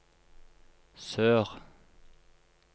sør